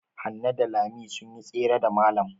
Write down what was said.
Hanne da Lami sun yi tsere da malam.